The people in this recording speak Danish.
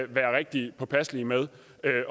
være rigtig påpasselige med